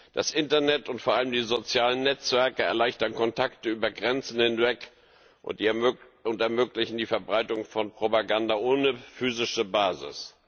Das Internet und vor allem die sozialen Netzwerke erleichtern Kontakte über Grenzen hinweg und ermöglichen die Verbreitung von Propaganda ohne physische Basis.